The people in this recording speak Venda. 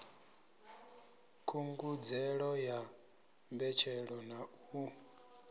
khungedzelo ya mbetshelo na u